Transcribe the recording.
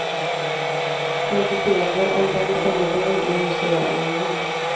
Fantiserade om vem som var vem när hon sa ja eller nej.